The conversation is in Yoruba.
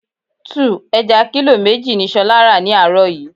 2. Ẹja kílò méjì ni ṣolá ra ni àárọ̀ yìí.